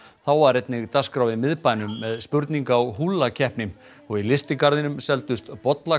var einnig dagskrá í miðbænum með spurninga og húllakeppni og í lystigarðinum seldust